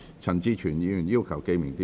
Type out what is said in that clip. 陳志全議員要求點名表決。